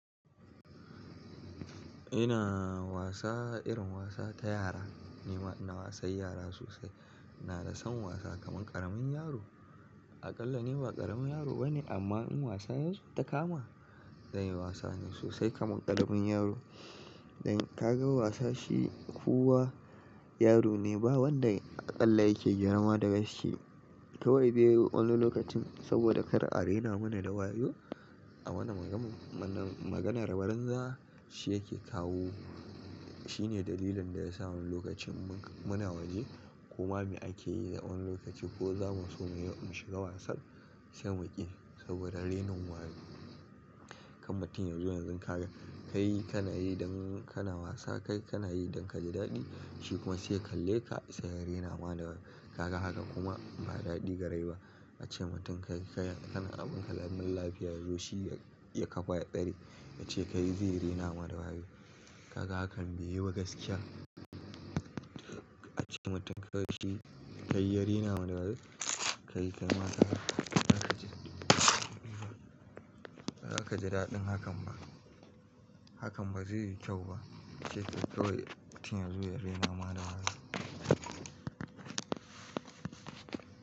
Ina wasa irin wasa ta yara, ni ma ina wasan yara sosai. Ina da son wasa kaman ƙaramin yaro. Aƙalla ni ba ƙaramin yaro bane amma in wasa yanzu ta kama, zan yi wasa ne sosai kaman ƙaramin yaro. Dan ka ga wasa shi kuwa yaro ne ba wanda aƙalla yake girma da shi. Kai wai dai wani lokacin saboda kar arena mana da wayo a wani maganar barinza shi yake kawo. Shine dalilin da ya sa wani lokacin muna waje kuma ake yi da wani lokaci ko zamu so mu shiga wasan sai mu ƙi, saboda renin wayo. Kan mutum yanzu yanzu ka ga ka yi kana yi dan kana wasa kai kana yi dan ka ji daɗi shi kuma sai ya kalle ka sai ya rena wa da wayo. Ka ga haka kuma ba daɗi ga rai ba. Ace mutum ka yi kana abun ka, lamin lafiya yazo shi ya kafa ya tsare yace kai zai rena wa da wayo. Ka ga hakan bai yi ba gaskiya. Ace mutum kawai shi kai ya rena wa da wayo. Kai a kai ma haka, ba za ka ji daɗin hakan ba. Hakan ba zai yi kyau ba. Ace kai kawai mutum ya zo ya rena ma da wayo.